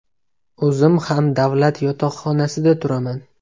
O‘zim ham davlat yotoqxonasida turaman.